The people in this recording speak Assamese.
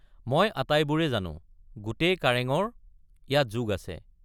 মই আটাইবোৰে জানো—গোটেই কাৰেঙৰ ইয়াত যোগ আছে।